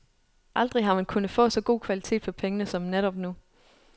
Aldrig har man kunnet få så god kvalitet for pengene, som netop nu.